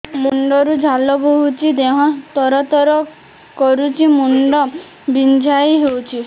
ମୁଣ୍ଡ ରୁ ଝାଳ ବହୁଛି ଦେହ ତର ତର କରୁଛି ମୁଣ୍ଡ ବିଞ୍ଛାଇ ହଉଛି